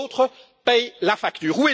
Les autres paient la facture.